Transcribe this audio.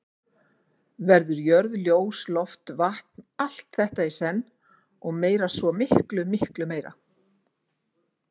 Verður jörð ljós loft vatn, allt þetta í senn, og meira, svo miklu meira.